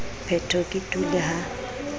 phetho ke tu le ha